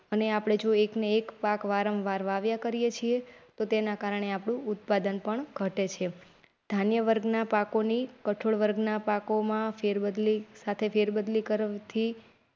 અને આપડે જો એકનો એક પાક વારંવાર વાવ્યા કરીએ છે તેના કારણે આપણું ઉત્પાદન પણ ઘટે છે. ધાન્ય વર્ગ ના પાકોની કઠોળ વર્ગના પાકોમાં ફેર બદલી સાથે ફેરબદલી કરવી થી.